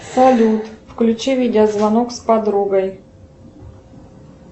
салют включи видеозвонок с подругой